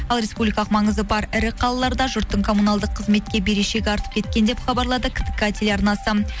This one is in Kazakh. ал республикалық маңызы бар ірі қалаларда жұрттың коммуналдық қызметке берешегі артып кеткен деп хабарлады ктк телеарнасы